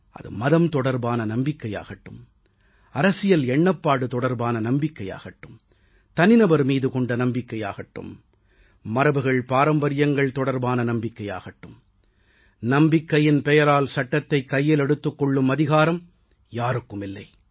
அது மதம் தொடர்பான நம்பிக்கையாகட்டும் அரசியல் எண்ணப்பாடு தொடர்பான நம்பிக்கையாகட்டும் தனிநபர் மீது கொண்ட நம்பிக்கையாகட்டும் மரபுகள்பாரம்பரியங்கள் தொடர்பான நம்பிக்கையாகட்டும் நம்பிக்கையின் பெயரால் சட்டத்தைக் கையில் எடுத்துக் கொள்ளும் அதிகாரம் யாருக்கும் இல்லை